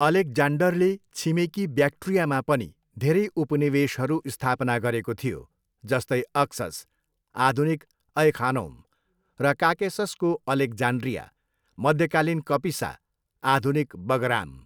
अलेक्जान्डरले छिमेकी ब्याक्ट्रियामा पनि धेरै उपनिवेशहरू स्थापना गरेको थियो, जस्तै अक्सस, आधुनिक ऐ खानौम, र काकेससको अलेक्जान्ड्रिया, मध्यकालीन कपिसा, आधुनिक बगराम।